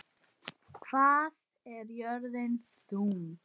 Hvað er jörðin þung?